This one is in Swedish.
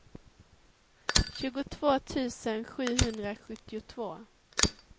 tjugotvå tusen sjuhundrasjuttiotvå